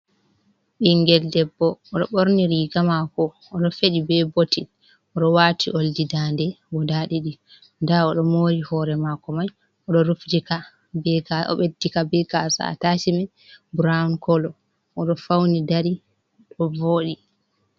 Ɓingel debbo oɗo ɓorni riga mako oɗo feɗi be bottin, oɗo wati oldi daande guda ɗiɗi, nda oɗo mori hore mako mai o'rufitika obeddika be gasa attacmen brown kolo. Oɗo fauni dari ɗo voɗi.